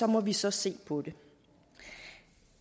må vi så se på det